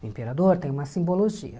O imperador tem uma simbologia.